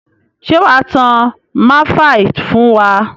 Ṣé wà á tán máìfaì fún wa?